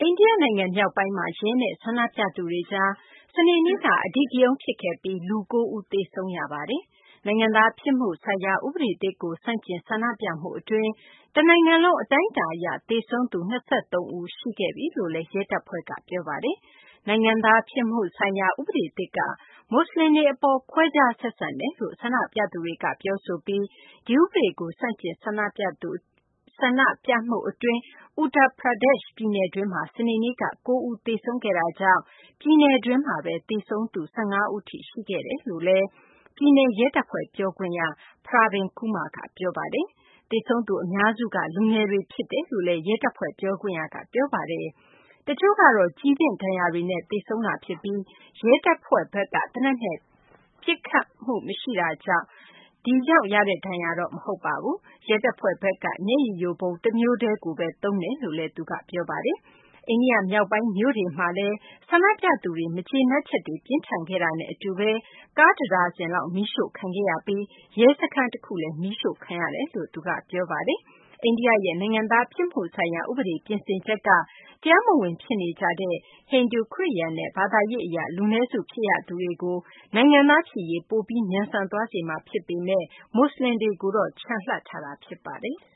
န္ဒိယနိုင်ငံ မြောက်ပိုင်းမှာ ရဲနဲ့ ဆန္ဒပြသူတွေကြား စနေနေ့က အဓိကရုဏ်း ဖြစ်ခဲ့ပြီး လူ ၉ ဦး သေဆုံးခဲ့ရပါတယ်။ နိုင်ငံသားဖြစ်မှုဆိုင်ရာ ဥပဒေသစ်ကို ဆန့်ကျင် ဆန္ဒပြမှုအတွင်း တနိုင်ငံလုံး အတိုင်းအတာအရ သေဆုံးသူ ၂၃ ဦး ရှိသွားပြီလို့လည်း ရဲတပ်ဖွဲ့က ပြောပါတယ်။ နိုင်ငံသားဖြစ်မှုဆိုင်ရာ ဥပဒေသစ်က မွတ်စလင်တွေအပေါ် ခွဲခြားဆက်ဆံတယ်လို့ ဆန္ဒပြသူတွေက ပြောဆိုပြီး ဒီဥပဒေကို ဆန့်ကျင် ဆန္ဒပြမှုအတွင်း Uttar Pradesh ပြည်နယ်တွင်းမှာ စနေနေ့က ၉ ဦး သေဆုံးခဲ့တာကြောင့် ပြည်နယ်တွင်း သေဆုံးသူ ၁၅ ဦး ရှိသွားပြီလို့လည်း ပြည်နယ်ရဲတပ်ဖွဲ့ ပြောခွင့်ရ Pravin Kumar က ပြောပါတယ်။ သေဆုံးသူ အများစုက လူငယ်တွေ ဖြစ်တယ်လို့လည်း ရဲတပ်ဖွဲ့ ပြောခွင့်ရက ပြောပါတယ်။ တချို့ကတော့ ကျည်သင့်ဒဏ်ရာတွေနဲ့ သေဆုံးတာဖြစ်ပြီး ရဲတပ်ဖွဲ့ဘက်က သေနတ်နဲ့ ပစ်ခတ်တာကြောင့် ရတဲ့ဒဏ်ရာတော့ မဟုတ်ပါဘူး။ ရဲတပ်ဖွဲ့ဘက်က မျက်ရည်ယိုဗုံး တမျိုးတည်းကိုပဲ အသုံးပြုတယ်လို့လည်း သူက ပြောပါတယ်။ အိန္ဒိယ မြောက်ပိုင်းမြို့တွေဖြစ်တဲ့ Rampur၊ Sambhal၊ Muzaffarnagar၊ Bijnore နဲ့ Kanpur မြို့တို့မှာလည်း ဆန္ဒပြသူတွေ မကျေနပ်ချက်တွေ ပြင်းထန်ခဲ့တာနဲ့အတူ ကားတဒါဇင်လောက် မီးရှို့ခံခဲ့ရပြီး ရဲစခန်းတခုလည်း မီးရှို့ခံခဲ့ရတယ်လို့ သူက ပြောပါတယ်။ အိန္ဒိယရဲ့ နိုင်ငံသားဖြစ်မှုဆိုင်ရာ ဥပဒေ ပြင်ဆင်ချက်က အိန္ဒိယမှာ တရားမဝင် ဖြစ်နေကြတဲ့ ဟိန္ဒူ၊ ခရစ်ယာန်နဲ့ ဘာသာရေးအရ လူနည်းစု ဖြစ်ရသူတွေကို နိုင်ငံသားဖြစ်ရေး ပိုပြီး မြန်ဆန်သွားစေမှာ ဖြစ်ပေမယ့်လည်း မွတ်စလင်တွေ အတွက်တော့ ချန်လှပ်ထားတာ ဖြစ်ပါတယ်။